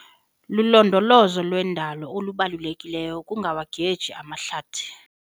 Lulondolozo lwendalo olubalulekileyo ukungawageci amahlathi.